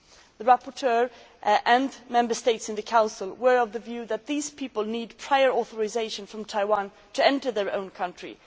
The rapporteur and Member States in the Council were of the view that these people need prior authorisation from Taiwan to enter their own country.